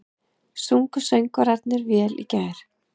Sungu söngvararnir vel í gær?